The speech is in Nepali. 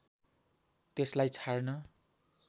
त्यसलाई छाड्न